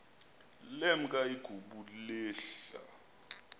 lemk igubu lehl